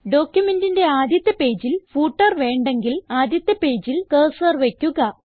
ഡോക്യുമെന്റിന്റെ ആദ്യത്തെ പേജിൽ ഫൂട്ടർ വേണ്ടങ്കിൽ ആദ്യത്തെ പേജിൽ കർസർ വയ്ക്കുക